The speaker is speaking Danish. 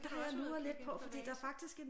Skal du også ud at kigge lidt på vaser?